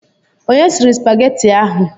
Onye sịrị supageti ahụ?